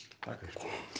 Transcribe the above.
takk